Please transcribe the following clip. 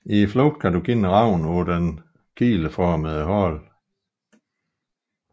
I flugten kendes ravnen på sin kileformede hale